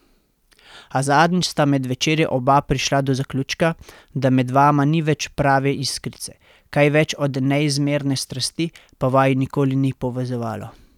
A zadnjič sta med večerjo oba prišla do zaključka, da med vama ni več prave iskrice, kaj več od neizmerne strasti pa vaju nikoli ni povezovalo.